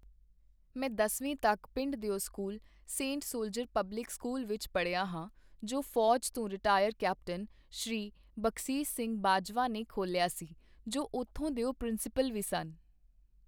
ਮੈਂ ਦਸਵੀਂ ਤੱਕ ਪਿੰਡ ਦਿਓ school Saint Soldier public school ਵਿੱਚ ਪੜ੍ਹਿਆ ਹਾਂ ਜੋ ਫੋਜ਼ ਤੋਂ ਰਿਟਾਇਰ ਕੈਪਟਨ ਸ.ਬਖ਼ਸੀਸ਼ ਸਿੰਘ ਬਾਜਵਾ ਨੇ ਖੋਲ੍ਹਿਆ ਸੀ ਜੋ ਉੱਥੋਂ ਦਿਓ ਪ੍ਰਿੰਸੀਪਲ ਵੀ ਸਨ.